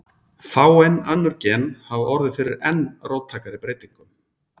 Fáein önnur gen hafa orðið fyrir enn róttækari breytingum.